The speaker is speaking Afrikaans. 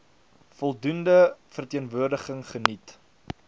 voldoende verteenwoordiging geniet